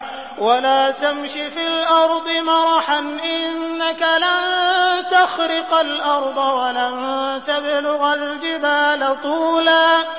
وَلَا تَمْشِ فِي الْأَرْضِ مَرَحًا ۖ إِنَّكَ لَن تَخْرِقَ الْأَرْضَ وَلَن تَبْلُغَ الْجِبَالَ طُولًا